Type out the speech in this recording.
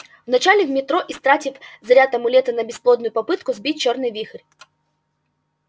вначале в метро истратит заряд амулета на бесплодную попытку сбить чёрный вихрь